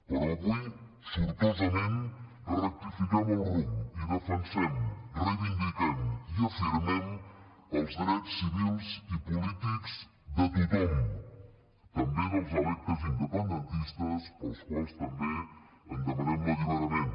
però avui sortosament rectifiquem el rumb i defensem reivindiquem i afirmem els drets civils i polítics de tothom també dels electes independentistes per als quals també en demanem l’alliberament